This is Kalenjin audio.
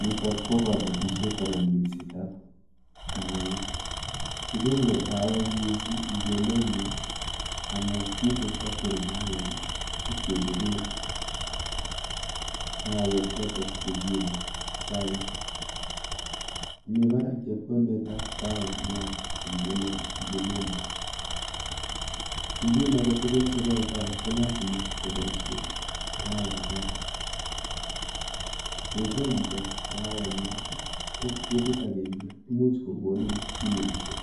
Nitok ko kabatishet anan minsetap kahawek. Kikole kahawek mising eng emenyo amu kiipe factory[sc] kahawek ipkechope kahawek chotok chekiyoe chaik. Mi barak chepkondetap kahawayat nguno eng emenyo. Chumbin aketugul sikoe chaik ko lasima koboishe kahawayat. Yeikol chito kahawayat ko ketit akenge imuch kokoni kiloishek